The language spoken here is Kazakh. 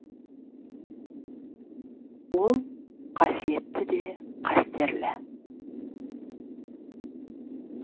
ол қасиетті де қастерлі